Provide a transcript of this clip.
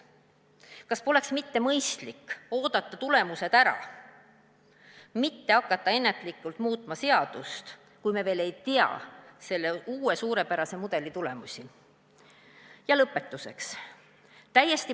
" Kas poleks mitte mõistlik oodata tulemused ära, mitte hakata ennatlikult muutma seadust, kui me veel ei tea selle uue suurepärase mudeli tulemusi?